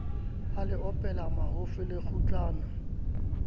a le opela mahofi lekgutlana